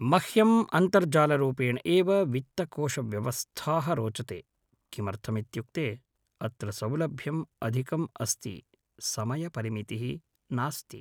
मह्यं अन्तर्जालरूपेण एव वित्तकोशव्यवस्थाः रोचते किमर्थमित्युक्ते अत्र सौलभ्यम् अधिकम् अस्ति समयपरिमितिः नास्ति